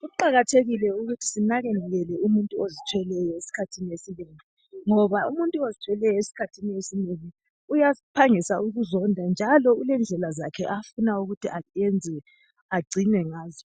Kuqakathekile ukuthi sinakekele umuntu ozithweleyo esikhathini esinengi, ngoba umuntu ozithweleyo esikhathini esinengi uyaphangisa ukuzonda njalo ulendlela zakhe afuna ukuthi agcinwe ngazo.